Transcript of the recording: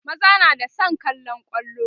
maza na da San kallan kwallo